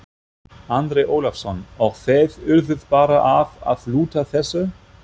Andri Ólafsson: Og þið urðuð bara að, að lúta þessu?